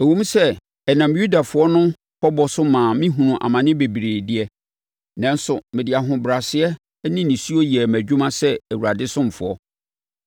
Ɛwom sɛ ɛnam Yudafoɔ no pɔbɔ so maa mehunuu amane bebree de, nanso mede ahobrɛaseɛ ne nisuo yɛɛ mʼadwuma sɛ Awurade ɔsomfoɔ.